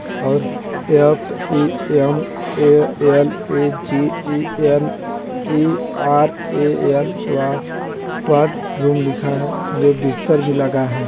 F E M A L E G E N E R A L ward room लिखा है ये बिस्तर भी लगा है।